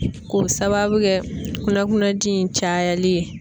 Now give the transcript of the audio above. K'o sababu kɛ kunnakunnaji in cayali ye